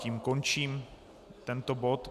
Tím končím tento bod.